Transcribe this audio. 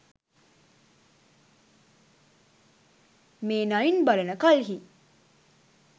මේ නයින් බලන කල්හි